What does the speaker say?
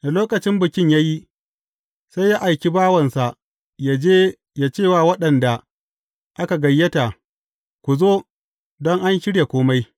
Da lokacin bikin ya yi, sai ya aiki bawansa ya je ya ce wa waɗanda aka gayyata, Ku zo, don an shirya kome.’